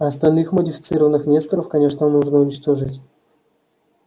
остальных модифицированных несторов конечно нужно уничтожить